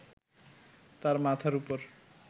তার মাথার উপর